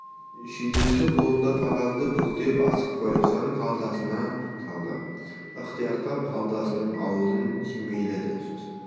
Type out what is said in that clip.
шүйдесі қалындау қағазды бүктеп асықпай жан қалтасына салды ықтияттап қалтасының аузын түймеледі сосын